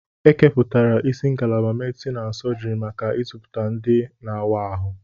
Ekepụtara isi ngalaba medisin na sọjiri maka ịzụpụta ndị na-awa ahụ.